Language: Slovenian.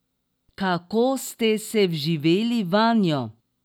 Kako ste se vživeli vanjo?